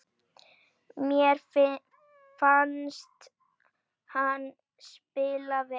Mér fannst hann spila vel.